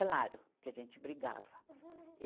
Claro, que a gente brigava.